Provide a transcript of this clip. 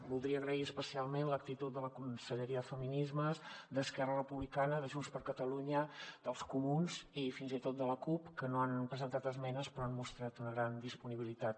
voldria agrair especialment l’actitud de la conselleria de feminismes d’esquerra republicana de junts per catalunya dels comuns i fins i tot de la cup que no han presentat esmenes però han mostrat una gran disponibilitat